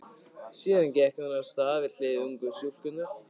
Síðan gekk hún af stað við hlið ungu stúlkunnar.